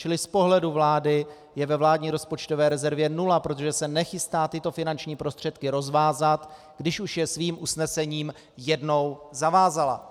Čili z pohledu vlády je ve vládní rozpočtové rezervě nula, protože se nechystá tyto finanční prostředky rozvázat, když už je svým usnesením jednou zavázala.